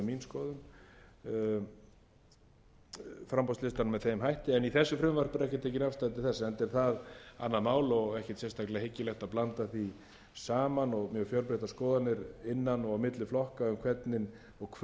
skoðun framboðslista með þeim hætti en í þessu frumvarpi er ekki tekin afstaða til þess enda er það annað mál og ekki sérstaklega hyggilegt að blanda því saman og mjög fjölbreyttar skoðanir innan og milli flokka um hvernig og hversu aukið persónuval eigi